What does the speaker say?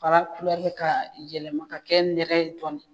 Fara kulɛri ka yɛlɛma ka kɛ nɛrɛ ye dɔɔnin.